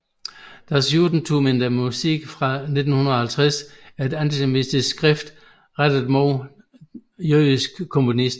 Das Judentum in der Musik fra 1850 er et antisemitisk skrift rettet mod jødiske komponister